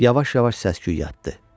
Yavaş-yavaş səs-küy yatdı.